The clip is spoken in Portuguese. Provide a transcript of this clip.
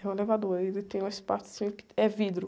É um elevador, aí ele tem um espacinho que é vidro.